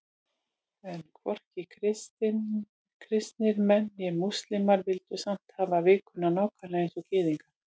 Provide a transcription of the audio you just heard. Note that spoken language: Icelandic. En hvorki kristnir menn né múslímar vildu samt hafa vikuna nákvæmlega eins og Gyðingar.